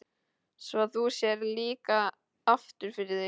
Svo þú sérð líka aftur fyrir þig?